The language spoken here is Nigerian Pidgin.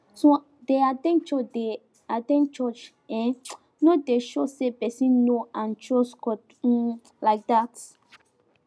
to dey at ten d church dey at ten d church eh no dey show say person know and trust god um like dat